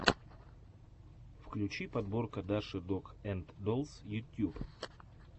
включи подборка даши дог энд доллс ютьюб